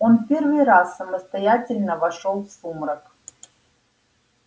он первый раз самостоятельно вошёл в сумрак